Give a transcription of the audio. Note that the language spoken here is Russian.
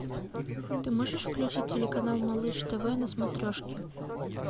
ты можешь включить телеканал малыш тв на смотрешке